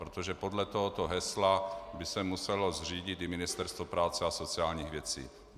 Protože podle tohoto hesla by se muselo řídit i Ministerstvo práce a sociálních věcí.